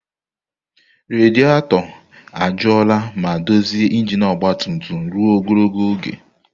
Rediator ajụọla ma dozie injin ọgba tum tum ruo ogologo oge.